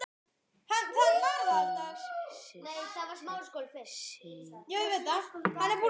Þín systir, Signý Lind.